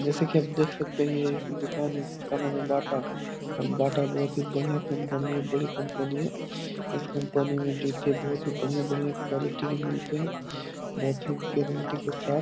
जैसा की आप देख सकते है ये एक दुकान है जिसका नाम है बाटा बाटा बहुत ही बढियाँ कंपनी बड़ी कंपनी है इस कंपनी मे जुते बहुत ही बढियाँ-बढियाँ क्वालिटी के मिलते है बहुत ही गारेंटी के साथ --